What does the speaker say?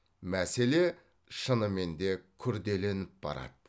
мәселе шынымен де күрделеніп барады